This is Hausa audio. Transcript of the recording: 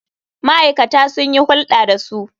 Ma'aikata sun yi hulɗa da su.